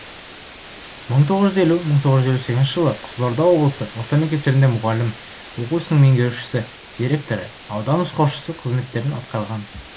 мың тоғыз жүз елу мың тоғыз жүз елу сегізінші жылы қызылорда облысы орта мектептерінде мұғалім оқу ісінің меңгерушісі директоры аудан нұсқаушысы қызметтерін атқарған